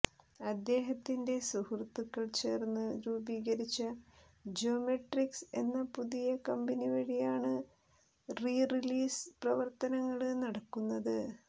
അദ്ദേഹത്തിന്റെ സുഹൃത്തുക്കൾ ചേർന്ന് രൂപീകരിച്ച ജ്യോമെട്രിക്സ് എന്ന പുതിയ കമ്പനി വഴിയാണ് റീറിലീസ് പ്രവര്ത്നങ്ങള് നടക്കുന്നത്